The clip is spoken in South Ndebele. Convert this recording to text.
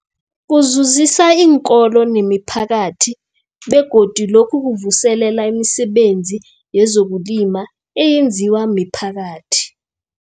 Kuzuzisa iinkolo nemiphakathi begodu lokhu kuvuselela imisebenzi yezokulima eyenziwa miphakathi.